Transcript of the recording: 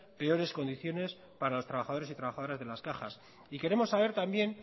peores condiciones para los trabajadores y trabajadoras de las cajas y queremos saber también